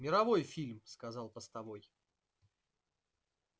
мировой фильм сказал постовой